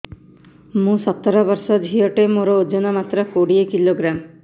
ମୁଁ ସତର ବର୍ଷ ଝିଅ ଟେ ମୋର ଓଜନ ମାତ୍ର କୋଡ଼ିଏ କିଲୋଗ୍ରାମ